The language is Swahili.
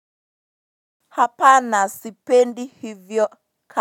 Hapana sipendi hivyo ka.